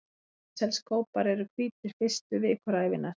Útselskópar eru hvítir fyrstu vikur ævinnar.